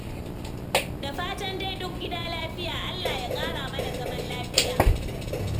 Da fatan dai duk gida lafiya. Allah ya ƙara mana zaman lafiya.